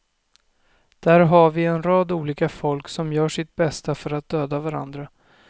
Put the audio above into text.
Där har vi en rad olika folk som gör sitt bästa för att döda varandra.